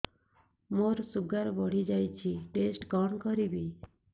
ମୋର ଶୁଗାର ବଢିଯାଇଛି ଟେଷ୍ଟ କଣ କରିବି